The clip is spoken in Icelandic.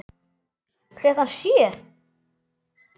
Klukkan sjö.